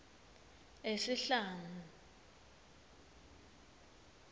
esihlangu